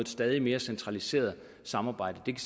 stadig mere centraliseret samarbejde det